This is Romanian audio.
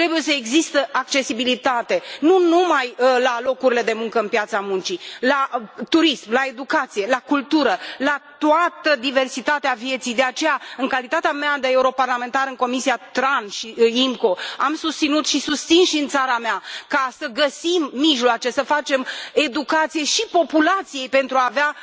Trebuie să existe accesibilitate la locurile de muncă de pe piața muncii, la turism, la educație, la cultură, la toată diversitatea vieții. De aceea, în calitatea mea de europarlamentar în comisia TRAN și IMCO, am susținut și susțin și în țara mea că trebuie să găsim mijloace să facem educație și populației pentru a avea